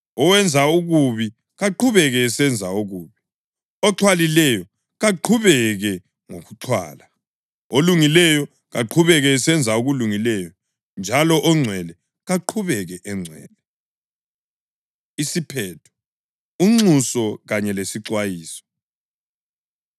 Owenza okubi kaqhubeke esenza okubi; oxhwalileyo kaqhubeke ngokuxhwala; olungileyo kaqhubeke esenza okulungileyo; njalo ongcwele kaqhubeke engcwele.” Isiphetho: Unxuso Kanye Lesixwayiso